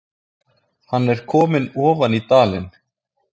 Hann er kominn ofan í dalinn